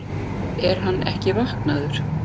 Er hann ekki vaknaður!